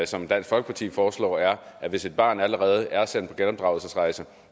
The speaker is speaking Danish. som dansk folkeparti foreslår er at hvis et barn allerede er sendt på genopdragelsesrejse